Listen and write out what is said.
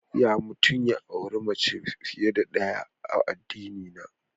Ya mutum ya auri mace fiye da ɗaya a addinina.